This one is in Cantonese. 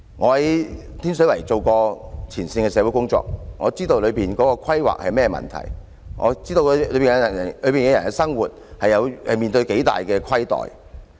我在天水圍做過前線社會工作，了解當中的規劃出了甚麼問題，知道當區居民在生活上受到多大的虧待。